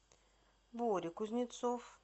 боря кузнецов